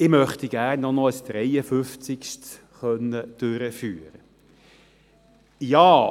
Ich möchte gerne noch ein 53. durchführen können.